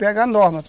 Pega a norma